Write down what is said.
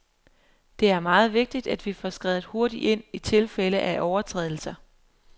Det er meget vigtigt, at vi får skredet hurtigt ind i tilfælde af overtrædelser.